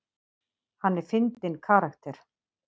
Hann er fyndinn karakter.